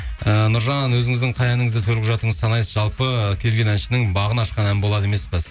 ііі нұржан өзіңіздің қай әніңізді төл құжатыңыз санайсыз жалпы кез келген әншінің бағын ашқан ән болады емес пе